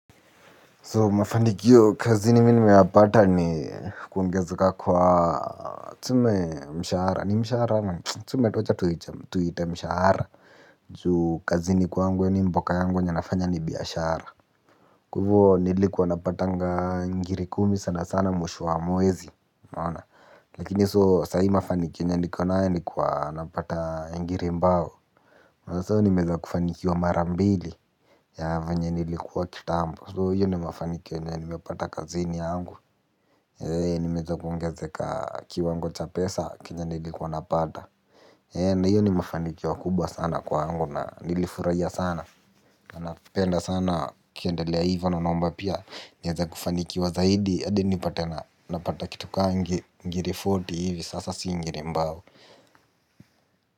Ndio mafanikio kazini mimi nimeyapata ni kuongezeka kwa mshahara tuseme wacha tu tuiite mshahara juu kazini kwangu yaani mboka yangu yenye nafanya ni bihashara. Kwa hivo nilikuwa napatanga ngiri kumi sana sana mwisho wa mwezi unaona. Lakini so saa hii mafanikio yenye nikonayo ni kuwa napata ngiri mbao. Na so nimeweza kufanikiwa mara mbili ya venye nilikuwa kitambo. So hiyo ndiyo mafanikio yenye nimepata kazini yangu. Nimeweza kuongezeka kiwango cha pesa chenye nilikuwa napata. Na hiyo ni mafanikio kubwa sana kwangu na nilifurahia sana. Na napenda sana ikiendalea hivo na naomba pia nianze kufanikiwa zaidi hadi nipate napata kitu kama ngiri fourty hivi sasa si ngiri mbao.